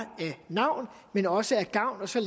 navn men også af gavn og så